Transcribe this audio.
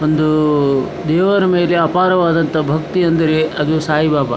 ಒಂದು ದೇವರ ಮೇಲೆ ಅಪಾರವಾದಂತಹ ಭಕ್ತಿ ಎಂದರೆ ಅದು ಸಾಯಿಬಾಬ.